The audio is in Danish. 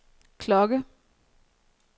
klokke